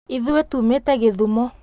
Ithuĩ tuumĩte Gĩthumo